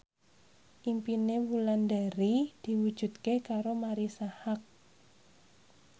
impine Wulandari diwujudke karo Marisa Haque